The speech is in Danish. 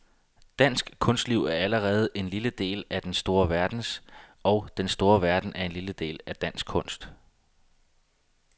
Dansk kunstliv er allerede en lille del af den store verdens, og den store verden en lille del af dansk kunst.